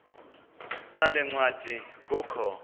sale ncwadi kukho